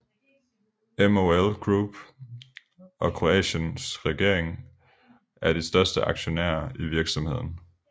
MOL Group og Kroatiens regering er de største aktionærer i virksomheden